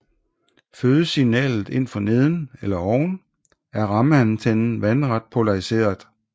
Fødes signalet ind for neden eller oven er rammeantennen vandret polariseret